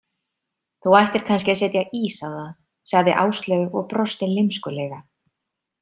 Þú ættir kannski að setja ís á það, sagði Áslaug og brosti lymskulega.